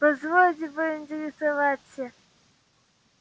позвольте поинтересоваться